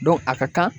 a ka kan